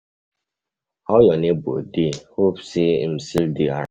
How your neighbor dey, hope say em till dey around?